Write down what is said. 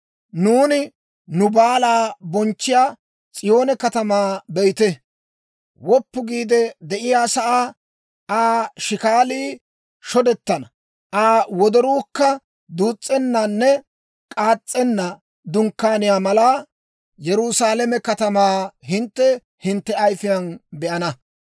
Nuuni nu baalaa bonchchiyaa S'iyoone katamaa be'ite! Woppu giide de'iyaasaa, Aa shikaalii shodettenna, Aa wodoruukka duus's'ennanne k'aas's'enna dunkkaaniyaa malaa, Yerusaalame katamaa hintte hintte ayifiyaan be'ana.